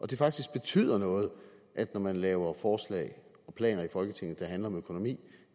det faktisk betyder noget når man laver forslag og planer i folketinget der handler om økonomi